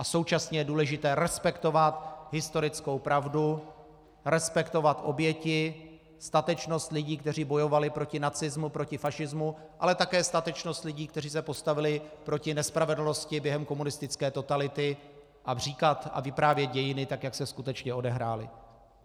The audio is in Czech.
A současně je důležité respektovat historickou pravdu, respektovat oběti, statečnost lidí, kteří bojovali proti nacismu, proti fašismu, ale také statečnost lidí, kteří se postavili proti nespravedlnosti během komunistické totality, a říkat a vyprávět dějiny tak, jak se skutečně odehrály.